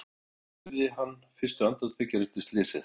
En hvernig upplifði hann fyrstu andartökin eftir slysið?